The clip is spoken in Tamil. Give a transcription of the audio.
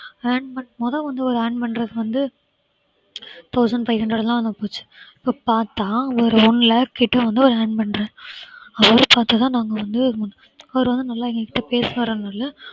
earn பண்~ முத வந்து ஒரு earn பண்றது வந்து thousand five hundred இப்ப பாத்தா ஒரு one lakh கிட்ட வந்து அவர் earn பண்றார், அவரை பாத்து தான் நாங்க வந்து, அவர் வந்து நல்லா எங்ககிட்ட